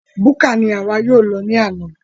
Búkà ní àwa yóò lọ ní àna